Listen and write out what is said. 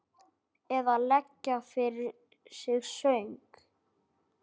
Eða leggja fyrir sig söng?